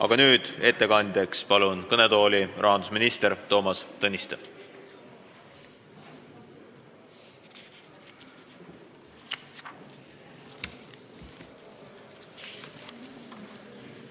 Aga nüüd palun ettekandeks kõnetooli rahandusminister Toomas Tõniste!